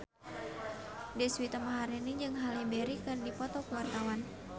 Deswita Maharani jeung Halle Berry keur dipoto ku wartawan